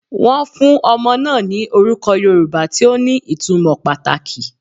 Won fun omo naa ni oruko Yoruba ti o ni itumo pataki